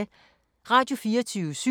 Radio24syv